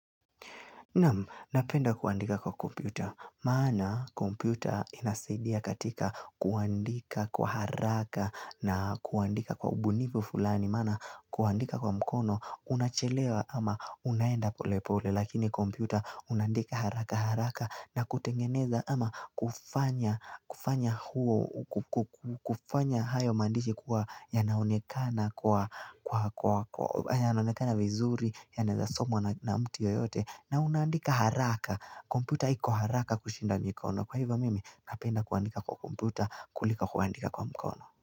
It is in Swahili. Napenda kuandika kwa kompyuta, maana kompyuta inasaidia katika kuandika kwa haraka na kuandika kwa ubunivu fulani, maana kuandika kwa mkono unachelewa ama unaenda pole pole, lakini kompyuta unaandika haraka haraka na kutengeneza ama kufanya huo, kufanya hayo mandishi kuwa yanaonekana kwa, yanaonekana vizuri yanaezasomwa na mtu yoyote na unaandika haraka, komputa hiko haraka kushinda mikono Kwa hivyo mimi napenda kuandika kwa komputa kulika kuandika kwa mkono.